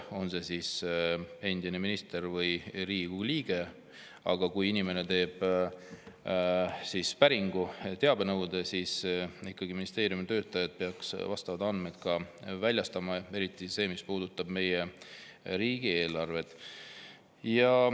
On see siis endine minister või Riigikogu liige, kui inimene teeb päringu, teabenõude, siis ministeeriumi töötajad peaksid ikkagi vastavad andmed ka väljastama, eriti need, mis puudutavad meie riigieelarvet.